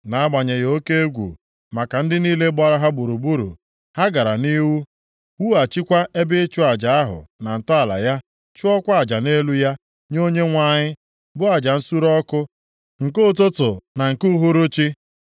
Nʼagbanyeghị oke egwu maka ndị niile gbara ha gburugburu, ha gara nʼihu wughachikwa ebe ịchụ aja ahụ na ntọala ya chụọkwa aja nʼelu ya nye Onyenwe anyị, bụ aja nsure ọkụ nke ụtụtụ na nke uhuruchi.